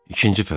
İkinci fəsil.